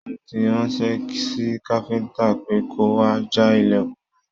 Mo tí ránṣẹ sí káfíntà pe kò wá já ilẹkùn náà.